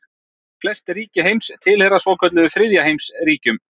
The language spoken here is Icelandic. Flest ríki heims tilheyra svokölluðum þriðja heims ríkjum.